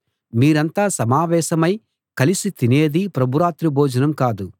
మీరంతా సమావేశమై కలిసి తినేది ప్రభు రాత్రి భోజనం కాదు